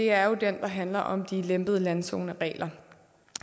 er den der handler om de lempede landzoneregler